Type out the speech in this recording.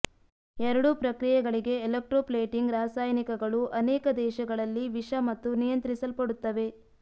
ಎರಡೂ ಪ್ರಕ್ರಿಯೆಗಳಿಗೆ ಎಲೆಕ್ಟ್ರೋಪ್ಲೇಟಿಂಗ್ ರಾಸಾಯನಿಕಗಳು ಅನೇಕ ದೇಶಗಳಲ್ಲಿ ವಿಷ ಮತ್ತು ನಿಯಂತ್ರಿಸಲ್ಪಡುತ್ತವೆ